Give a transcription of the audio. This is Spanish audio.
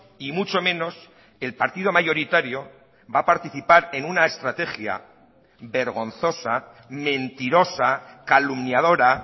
y mucho menos el partido mayoritario va a participar en una estrategia vergonzosa mentirosa calumniadora